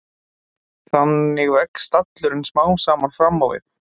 Þannig vex stallurinn smám saman fram á við.